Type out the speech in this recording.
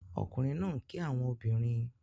Ọkunrin naa n ki awọn obinrin